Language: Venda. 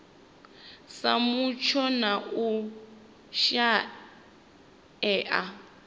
sa mutsho na u shaea